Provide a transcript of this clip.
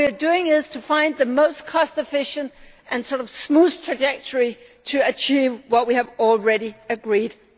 What we are doing is finding the most cost efficient and smoothest trajectory to achieve what we have already agreed